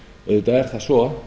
auðvitað er það svo